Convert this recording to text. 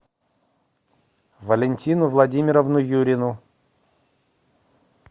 валентину владимировну юрину